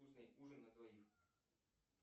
вкусный ужин на двоих